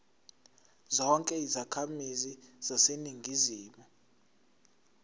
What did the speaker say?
zonke izakhamizi zaseningizimu